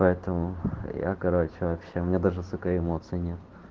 поэтому я короче вообще у мне даже сука эмоций нет